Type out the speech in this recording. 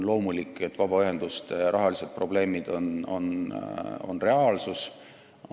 Loomulikult on vabaühenduste rahalised probleemid reaalsus.